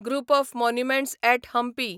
group of monuments at Hampi